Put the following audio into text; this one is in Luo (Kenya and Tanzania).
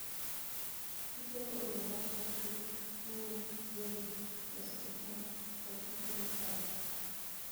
Tijego oriwo mago mag pur, kunyo, gedo, loso gik moko, koda tije mag pacho.